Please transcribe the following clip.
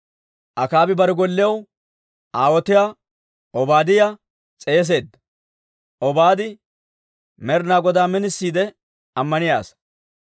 Akaabi bare gollew aawotiyaa Obaadiyaa s'eeseedda. Obaadi Med'inaa Godaa minisiide ammaniyaa asaa.